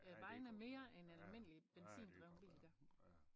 Ja det godt være ja ja det godt være ja